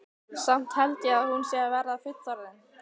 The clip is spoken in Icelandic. Samt held ég að hún sé að verða fullorðin.